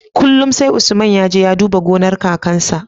Kullun sai usman yaje ya duba gonar kakan su